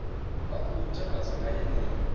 vha khou takadzwa nga yeneyo